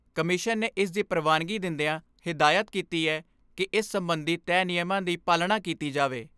Commission ਨੇ ਇਸ ਦੀ ਪ੍ਰਵਾਨਗੀ ਦਿੰਦਿਆਂ ਹਦਾਇਤ ਕੀਤੀ ਏ ਕਿ ਇਸ ਸਬੰਧੀ ਤੈਅ ਨਿਯਮਾਂ ਦੀ ਪਾਲਣਾ ਕੀਤੀ ਜਾਵੇ।